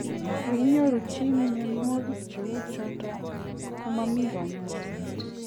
Ye inyoru chito muyanwakik che uchutok ka mamii kanyaishet.